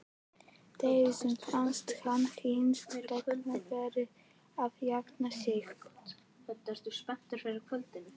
Dísu fannst hann hins vegar vera að jafna sig.